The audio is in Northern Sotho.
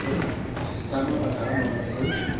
ka mabaka a mangwe ge